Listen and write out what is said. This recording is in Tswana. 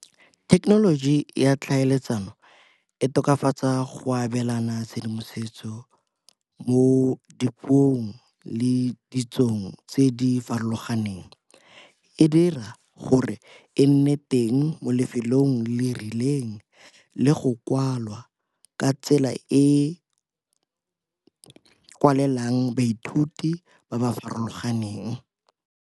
Thekenoloji ya tlhaeletsano e tokafatsa go abelana tshedimosetso mo dipuong le ditsong tse di farologaneng. E dira gore e nne teng mo lefelong le rileng le go kwalwa ka tsela e e kwalelang baithuti ba ba farologaneng.